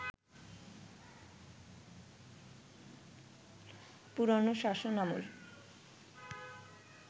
পুরনো শাসনামল